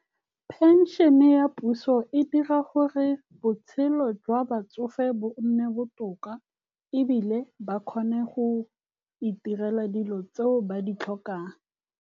Pension-e ya puso e dira gore botshelo jwa batsofe bo nne botoka. Ebile ba kgone go itirela dilo tseo ba di tlhokang.